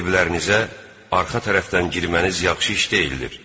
Evlərinizə arxa tərəfdən girməniz yaxşı iş deyildir.